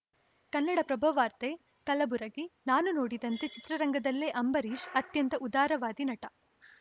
ಕನ್ನಡಪ್ರಭ ವಾರ್ತೆ ಕಲಬುರಗಿ ನಾನು ನೋಡಿದಂತೆ ಚಿತ್ರರಂಗದಲ್ಲೇ ಅಂಬರೀಷ್‌ ಅತ್ಯಂತ ಉದಾರವಾದಿ ನಟ